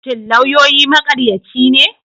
Shin lauyoyi maƙaryaci ne?